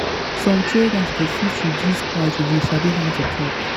some traders go fit go fit reduce price if you sabi how to talk.